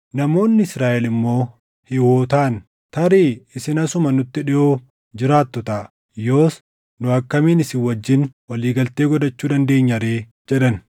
Namoonni Israaʼel immoo Hiiwotaan, “Tarii isin asuma nutti dhiʼoo jiraattu taʼa; yoos nu akkamiin isin wajjin walii galtee godhachuu dandeenya ree?” jedhan.